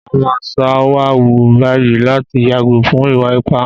Màá máa ṣọ́wà wù báyìí láti yàgò fún ìwà ipá